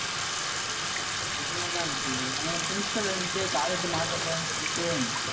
என்னடா இது அஹ் principal வந்துட்டு college மாத்த போறேன்னு சொல்லிட்டு